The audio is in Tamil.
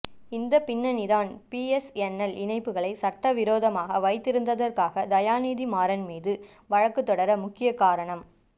இந்தப் பின்னணிதான் பிஎஸ்என்எல் இணைப்புகளை சட்டவிரோதமாக வைத்திருந்ததாக தயாநிதி மாறன் மீது வழக்குத் தொடர முக்கிய காரணம்